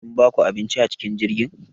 Sun baku abinci acikin jirgin?